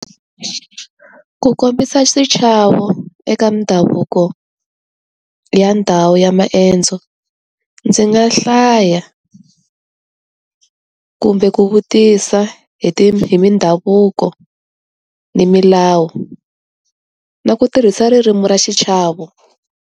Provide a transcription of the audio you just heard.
Ku kombisa xichavo eka mindhavuko, ya ndhawu ya maendzo. Ndzi nga hlaya kumbe ku vutisa hi ti hi mindhavuko, ni milawu. Na ku tirhisa ririmi ra xichavo.